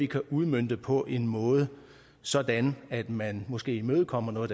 kan udmønte på en måde sådan at man måske imødekommer noget